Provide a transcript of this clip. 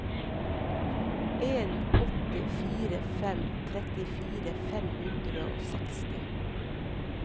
en åtte fire fem trettifire fem hundre og seksti